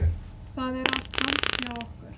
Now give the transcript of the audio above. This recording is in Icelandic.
Það er allt tómt hjá okkur